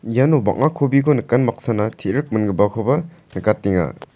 iano bang·a kobiko nikan baksana te·rik mingipakoba nikatenga.